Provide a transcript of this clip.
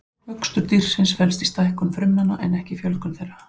Vöxtur dýrsins felst í stækkun frumnanna en ekki fjölgun þeirra.